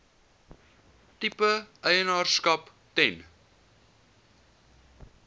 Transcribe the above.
tipe eienaarskap ten